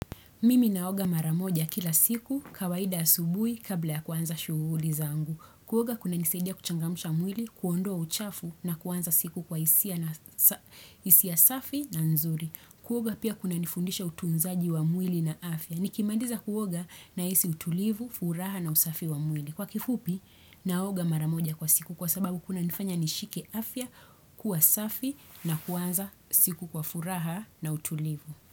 Mimi naoga mara moja kila siku kawaida asubui kabla ya kuanza shuguli zangu. Kuoga kuna nisaidia kuchangamsha mwili, kuondoa uchafu na kuanza siku kwa hisia safi na nzuri. Kuoga pia kuna nifundisha utunzaji wa mwili na afya. Nikimandiza kuoga nahisi utulivu, furaha na usafi wa mwili. Kwa kifupi, naoga mara moja kwa siku kwa sababu kuna nifanya nishike afya, kuwa safi na kuanza siku kwa furaha na utulivu.